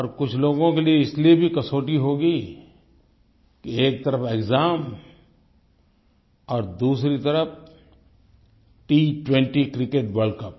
और कुछ लोगों के लिए इसलिए भी कसौटी होगी कि एक तरफ़ एक्साम और दूसरी तरफ़ T20 क्रिकेट वर्ल्ड कप